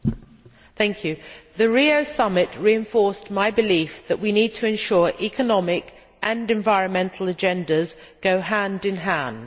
Mr President, the Rio Summit reinforced my belief that we need to ensure economic and environmental agendas go hand in hand.